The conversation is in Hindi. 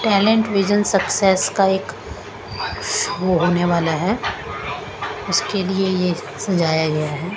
टैलेंट विजन सक्सेस का एक वो होने वाला है उसके लिए यह सजाया गया है।